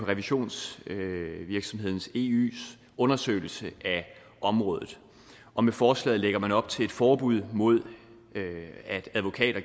revisionsvirksomheden eys undersøgelse af området og med forslaget lægger man op til et forbud mod at advokater